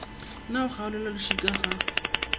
na go kgaolelwa lešika ga